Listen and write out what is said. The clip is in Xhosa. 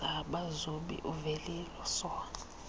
zabazobi uvelile soha